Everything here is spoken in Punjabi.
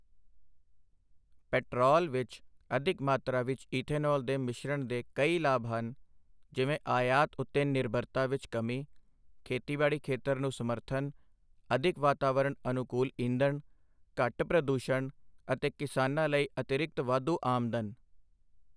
ਪੈਟਰੋਲ ਵਿੱਚ ਅਧਿਕ ਮਾਤਰਾ ਵਿੱਚ ਇਥੇਨੋਲ ਦੇ ਮਿਸ਼ਰਣ ਦੇ ਕਈ ਲਾਭ ਹਨ, ਜਿਵੇਂ ਆਯਾਤ ਉੱਤੇ ਨਿਰਭਰਤਾ ਵਿੱਚ ਕਮੀ, ਖੇਤੀਬਾੜੀ ਖੇਤਰ ਨੂੰ ਸਮਰਥਨ, ਅਧਿਕ ਵਾਤਾਵਰਣ ਅਨੁਕੂਲ ਈਂਧਣ, ਘੱਟ ਪ੍ਰਦੂਸ਼ਣ ਅਤੇ ਕਿਸਾਨਾਂ ਲਈ ਅਤਿਰਿਕਤ ਵਾਧੂ ਆਮਦਨ।